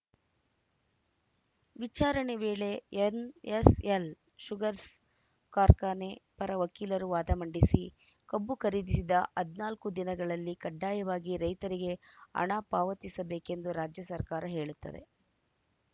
ವಿಚಾರಣೆ ವೇಳೆ NSL sugars ಕಾರ್ಖಾನೆ ಪರ ವಕೀಲರು ವಾದ ಮಂಡಿಸಿ ಕಬ್ಬು ಖರೀದಿಸಿದ ಹದಿನಾಲ್ಕು ದಿನಗಳಲ್ಲಿ ಕಡ್ಡಾಯವಾಗಿ ರೈತರಿಗೆ ಹಣ ಪಾವತಿಸಬೇಕೆಂದು ರಾಜ್ಯ ಸರ್ಕಾರ ಹೇಳುತ್ತದೆ